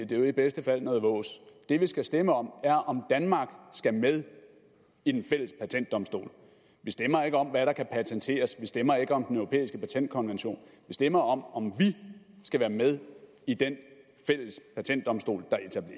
det er jo i bedste fald noget vås det vi skal stemme om er om danmark skal med i den fælles patentdomstol vi stemmer ikke om hvad der kan patenteres vi stemmer ikke om den europæiske patentkonvention vi stemmer om om vi skal være med i den fælles patentdomstol